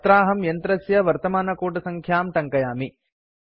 अत्राहं यन्त्रस्य वर्तमानकूटसङ्ख्यां टङ्कयामि